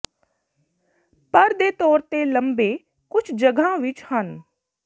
ਪਰ ਦੇ ਤੌਰ ਤੇ ਲੰਬੇ ਕੁਝ ਜਗ੍ਹਾ ਵਿੱਚ ਹਨ